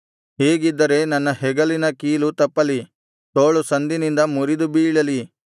ಹೀಗಿದ್ದರೆ ನನ್ನ ಹೆಗಲಿನ ಕೀಲು ತಪ್ಪಲಿ ತೋಳು ಸಂದಿನಿಂದ ಮುರಿದು ಬೀಳಲಿ